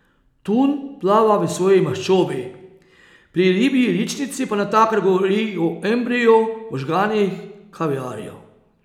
Tun plava v svoji maščobi, pri ribji ličnici pa natakar govori o embriju, možganih, kaviarju ...